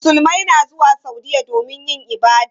Musulmai na zuwa Saudiyya domin yin ibada.